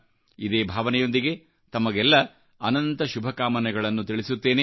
ಇದೇಭಾವನೆಗಳೊಂದಿಗೆ ತಮಗೆಲ್ಲಾ ಅನಂತ ಶುಭಕಾಮನೆಗಳನ್ನು ತಿಳಿಸುತ್ತೇನೆ